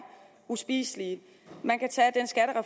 uspiselige man kan